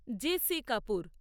J C Kapoor